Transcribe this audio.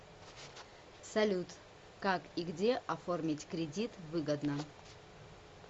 салют как и где оформить кредит выгодно